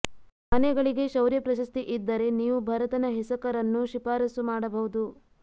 ಆನೆಗಳಿಗೆ ಶೌರ್ಯ ಪ್ರಶಸ್ತಿ ಇದ್ದರೆ ನೀವು ಭರತನ ಹೆಸಕರನ್ನು ಶಿಫಾರಸ್ಸು ಮಾಡಬಹುದು